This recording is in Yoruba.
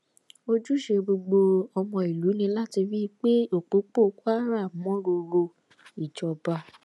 ojúṣe gbogbo ọmọ ìlú ni láti rí i pé òpópó kwara mọ ròrò ìjọba